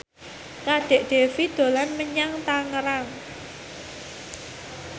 Kadek Devi dolan menyang Tangerang